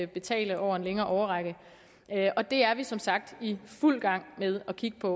betale over en længere årrække det er vi som sagt i fuld gang med at kigge på